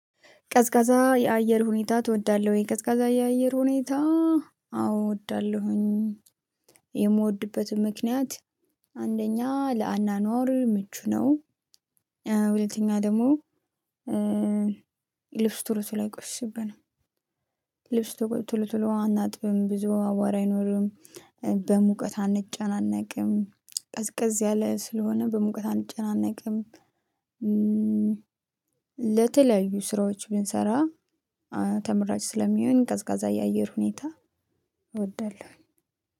ቀዝቃዛ የአየር ሁኔታ ትወዳለህ ወይ? ቀዝቃዛ የአየር ሁኔታ አዎ እወዳለሁኝ የምወድበትም ምክንያት አንደኛ ለአኗኗር ምቹ ነው። ሁለተኛ ደግሞ። ልብስ ቶሎ ቶሎ አይቆሽሽብንም። ልብስ ቶሎ ቶሎ አናጥብም ብዙ አቧራ አይኖርም። በሙቀት አንጨናነቅም ቀዝቀዝ ያለ ስለሆነ በሙቀት አንጨናነቅም። ለተለያዩ ስራዎች ብንሰራ ተመራጭ ስለሚሆን ቀዝቃዛ የአየር ሁኔታ። እወዳለሁኝ